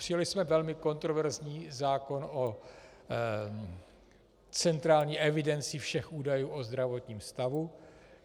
Přijali jsme velmi kontroverzní zákon o centrální evidenci všech údajů o zdravotním stavu.